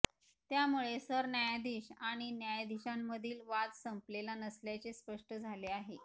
त्यामुळे सरन्यायाधीश आणि न्यायाधीशांमधील वाद संपलेला नसल्याचे स्पष्ट झाले आहे